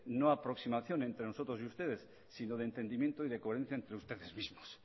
no aproximación entre nosotros y ustedes sino de entendimiento y coherencia entre ustedes mismos